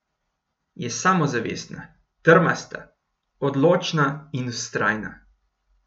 Je samozavestna, trmasta, odločna in vztrajna.